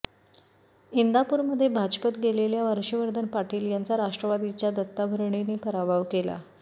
इंदापूरमध्ये भाजपत गेलेल्या हर्षवर्धन पाटील यांचा राष्ट्रवादीच्या दत्ता भरणेंनी पराभव केला